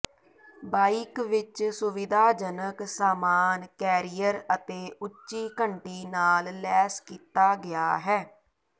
bike ਇੱਕ ਸੁਵਿਧਾਜਨਕ ਸਾਮਾਨ ਕੈਰੀਅਰ ਅਤੇ ਉੱਚੀ ਘੰਟੀ ਨਾਲ ਲੈਸ ਕੀਤਾ ਗਿਆ ਹੈ